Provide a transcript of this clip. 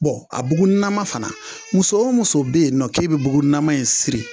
a buguninama fana muso o muso be yen nɔ k'e be bugunama in siri